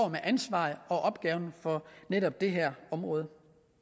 med ansvaret for netop det her område